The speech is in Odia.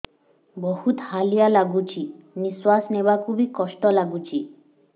ବହୁତ୍ ହାଲିଆ ଲାଗୁଚି ନିଃଶ୍ବାସ ନେବାକୁ ଵି କଷ୍ଟ ଲାଗୁଚି